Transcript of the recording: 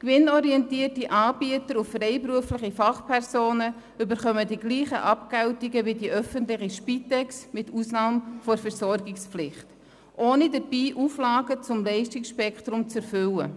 Gewinnorientierte Anbieter und freiberufliche Fachpersonen erhalten die gleichen Abgeltungen wie die öffentliche Spitex, mit Ausnahme der Versorgungspflicht, ohne dabei Auflagen zum Leistungsspektrum zu erfüllen.